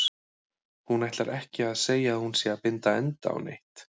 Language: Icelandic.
Hún ætlar ekki að segja að hún sé að binda enda á neitt.